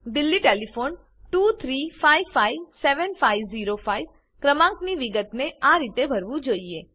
Delhi telephone 23557505 ક્રમાંકની વિગતને આ રીતે ભરવું જોઈએ